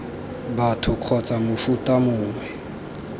batho kgotsa b mofuta mongwe